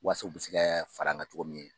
Wasa u bi se kɛ faran ka cogo min